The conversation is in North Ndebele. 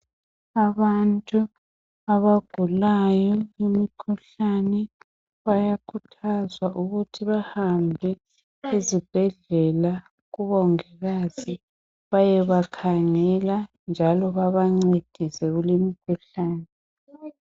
Abantu abagulayo imikhuhlane bayakhuthazwa ukuthi bahambe ezibhedlela kubongikazi bayebakhangela njalo babancedise kulimkhuhlane .